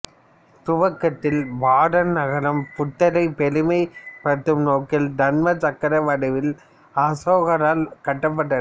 துவக்கத்தில் பாதன் நகரம் புத்தரை பெருமைப் படுத்தும் நோக்கில் தர்மச் சக்கர வடிவில் அசோகரால் கட்டப்பட்டது